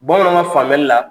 Bamananw ka faamuyali la